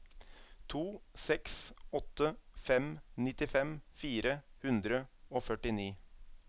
to seks åtte fem nittifem fire hundre og førtini